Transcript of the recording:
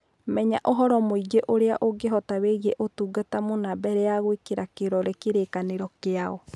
Menya ũhoro mũĩngĩ ũrĩa ũngĩhota wĩgiĩ ũtungata mũna mbere ya gũĩkĩra kĩrore kĩrĩkanĩro kĩao.